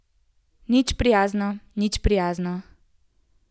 Nič prijazno, nič prijazno.